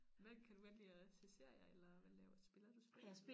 Hvad kan du godt lide at se serier eller hvad laver spiller du spil eller